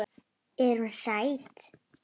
Er hún sæt?